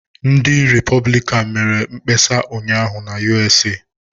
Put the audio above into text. Ndị Repọblikan mere mkpesa ụnyaahụ na USA.